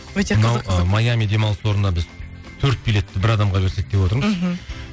өте қызықты мына майами демалыс орнына біз төрт билетті бір адамға берсек деп отырмыз мхм